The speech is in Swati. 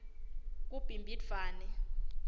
kubhimbidvwane